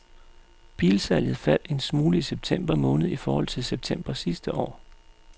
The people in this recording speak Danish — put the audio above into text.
Bilsalget faldt en smule i september måned i forhold til september sidste år.